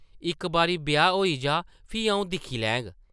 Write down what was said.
इक बारी ब्याह् होई जाऽ, फ्ही आʼऊं दिक्खी लैङ ।